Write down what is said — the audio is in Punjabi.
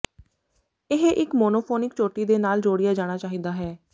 ਇਹ ਇਕ ਮੋਨੋਫੋਨੀਕ ਚੋਟੀ ਦੇ ਨਾਲ ਜੋੜਿਆ ਜਾਣਾ ਚਾਹੀਦਾ ਹੈ